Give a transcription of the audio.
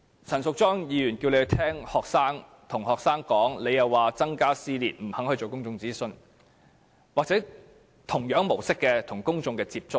陳淑莊議員叫政府聆聽學生的意見，它卻說會增加撕裂，不肯進行公眾諮詢或以同樣的模式與公眾接觸。